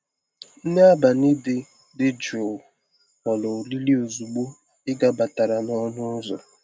Nri abalị dị dị jụụ ghọrọ oriri ozugbo ị gabatara n'ọnụ ụzọ.